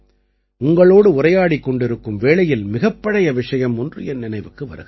உங்களோடு உரையாடிக் கொண்டிருக்கும் வேளையில் மிகப் பழைய விஷயம் ஒன்று என் நினைவுக்கு வருகிறது